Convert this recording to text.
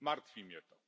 Martwi mnie to.